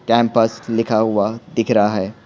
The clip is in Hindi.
कैम्पस लिखा हुआ दिख रहा है।